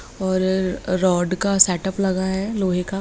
और रॉड का सेट-अप लगा है लोहे का।